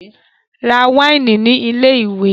Ra wáìnì ní ilé-ìwé!